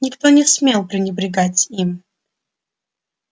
никто не смел пренебрегать им